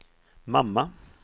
mamma